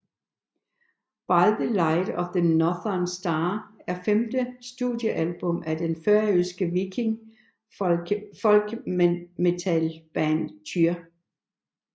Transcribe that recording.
By the Light of the Northern Star er det femte studiealbum fra det færøske viking folkmetal band Týr